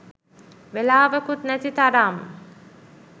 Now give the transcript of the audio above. වෙලාවකුත් නැති තරම්.